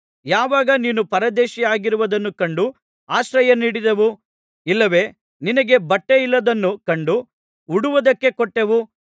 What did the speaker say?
ಯಾವಾಗ ನೀನು ಪರದೇಶಿಯಾಗಿರುವುದನ್ನು ಕಂಡು ಆಶ್ರಯ ನೀಡಿದೆವು ಇಲ್ಲವೆ ನಿನಗೆ ಬಟ್ಟೆಯಿಲ್ಲದ್ದನ್ನು ಕಂಡು ಉಡುವುದಕ್ಕೆ ಕೊಟ್ಟೆವು